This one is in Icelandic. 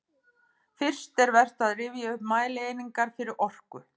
Fyrst er vert að rifja upp mælieiningar fyrir orku.